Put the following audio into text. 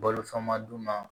Balo fɛn ma dun na